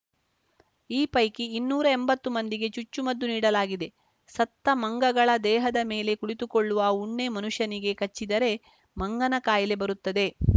ಈ ಪೈಕಿ ಇನ್ನೂರೆಂಬತ್ತು ಮಂದಿಗೆ ಚುಚ್ಚುಮದ್ದು ನೀಡಲಾಗಿದೆ ಸತ್ತ ಮಂಗಗಳ ದೇಹದ ಮೇಲೆ ಕುಳಿತುಕೊಳ್ಳುವ ಉಣ್ಣೆ ಮನುಷ್ಯನಿಗೆ ಕಚ್ಚಿದರೆ ಮಂಗನ ಕಾಯಿಲೆ ಬರುತ್ತದೆ